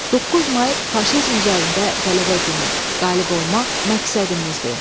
9 may faşizm üzərində qələbə günü, qalib olmaq məqsədimizdir.